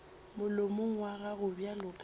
molomong wa gago bjalo ka